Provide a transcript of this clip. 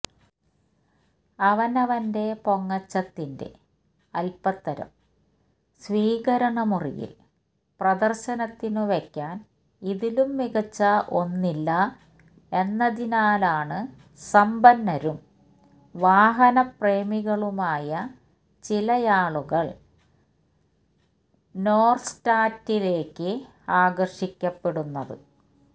അവനവന്റെ പൊങ്ങച്ചത്തിന്റെ അല്പത്തരം സ്വീകരണമുറിയില് പ്രദര്ശനത്തിനു വെക്കാന് ഇതിലും മികച്ച ഒന്നില്ല എന്നതിനാലാണ് സമ്പന്നരും വാഹനപ്രേമികളുമായ ചിലയാളുകള് നോര്ത്സ്റ്റാറിലേക്ക് ആകര്ഷിക്കപ്പെടുന്നത്